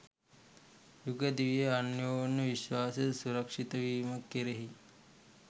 යුග දිවියේ අන්‍යෝන්‍ය විශ්වාසය සුරක්‍ෂිතවීම කෙරෙහි